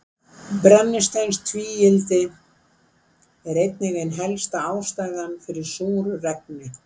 Brennisteinstvíildi er einnig ein helsta ástæðan fyrir súru regni.